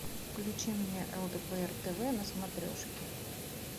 включи мне лдпр тв на смотрешке